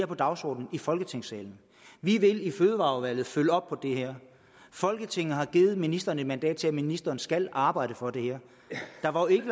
på dagsordenen i folketingssalen vi vil i fødevareudvalget følge op på det her folketinget har givet ministeren et mandat til at ministeren skal arbejde for det her der var jo ikke